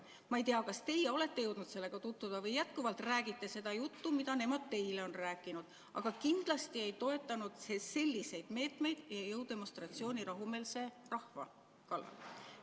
Ma ei tea, kas teie olete jõudnud sellega tutvuda või jätkuvalt räägite seda juttu, mida nemad teile on rääkinud, aga kindlasti ei toetanud see selliseid meetmeid ja jõudemonstratsiooni rahumeelse rahva kallal.